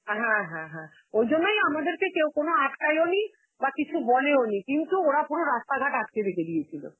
হ্যাঁ হ্যাঁ হ্যাঁ, ওই জন্যই আমাদেরকে কেউ কোন আটকায়ও নি, বা কিছু বলেও নি. কিন্তু ওরা পুরো রাস্তাঘাট আটকে রেখে দিয়েছিল.